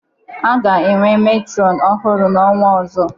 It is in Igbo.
Anyị ga-enwe metrọnụ ọhurụ n'ọnwa ọzọ.